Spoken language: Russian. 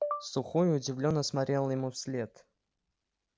сухой удивлённо смотрел ему вслед